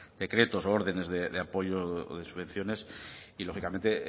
decretos u órdenes de apoyo o de subvenciones y lógicamente